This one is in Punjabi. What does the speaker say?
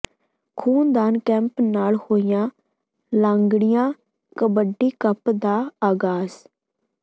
ਖੂਨਦਾਨ ਕੈਂਪ ਨਾਲ ਹੋਇਆ ਲਾਂਗੜੀਆਂ ਕਬੱਡੀ ਕੱਪ ਦਾ ਆਗਾਜ਼